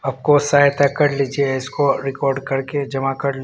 आपको सहायता कर लीजिए इसको रिकार्ड करके जमा कर--